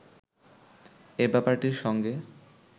এ ব্যাপারটির সঙ্গে